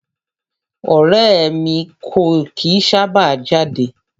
Ọrẹ́ ẹ̀ mi kò kìí sábà jáde.